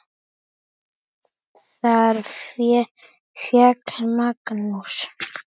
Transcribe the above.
Þar féll Magnús.